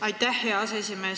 Aitäh, hea aseesimees!